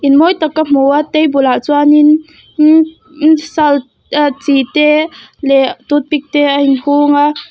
in mawi tak ka hmu a table ah chuan in chi te leh toothpick te a in hung a.